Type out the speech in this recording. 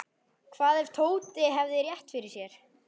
Hvað ef Tóti hefði rétt fyrir sér?